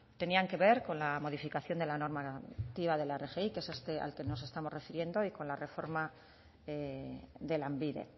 tenían que ver que la modificación de la normativa de la rgi que es a este al que nos estamos refiriendo y con la reforma de lanbide